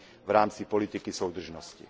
v rámci politiky soudržnosti.